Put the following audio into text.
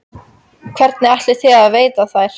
Hvernig ætlið þið að veiða þær?